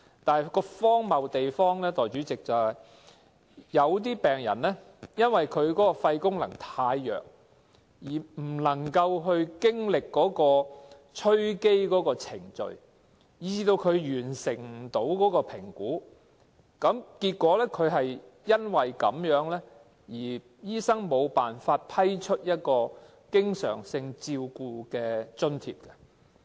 但代理主席，荒謬之處是，有些病人因為肺功能太弱而無法進行吹機的程序，以致無法完成評估，醫生亦因而無法向他批出經常性照顧津貼。